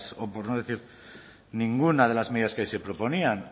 o por no decir ninguna de las medidas que ahí se proponían